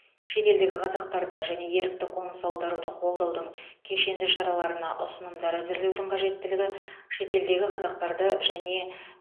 шетелдегі қазақтарды және ерікті қоныс аударуды қолдаудың кешенді шараларына ұсынымдар әзірлеудің қажеттілігі шетелдегі қазақтарды және